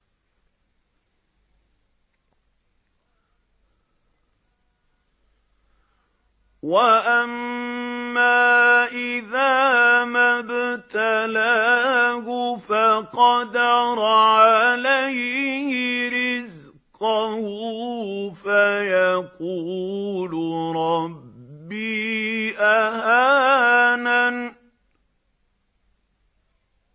وَأَمَّا إِذَا مَا ابْتَلَاهُ فَقَدَرَ عَلَيْهِ رِزْقَهُ فَيَقُولُ رَبِّي أَهَانَنِ